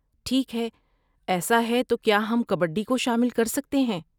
ٹھیک ہے، ایسا ہے تو کیا ہم کبڈی کو شامل کر سکتے ہیں؟